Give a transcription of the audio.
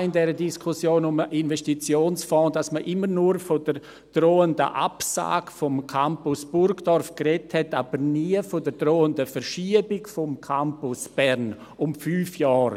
in der Diskussion, die man um den Investitionsfonds hatte, Sorgen, dass man immer nur von der drohenden Absage des Campus’ Burgdorf sprach, aber nie von der drohenden Verschiebung des Campus’ Bern um fünf Jahre.